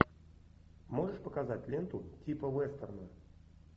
можешь показать ленту типа вестерна